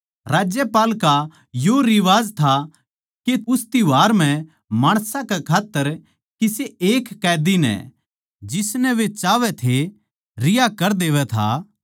राज्यपाल का यो रिवाज था के उस त्यौहार म्ह माणसां कै खात्तर किसे एक कैदी नै जिसनै वे चाहवै थे रिहा कर देवै था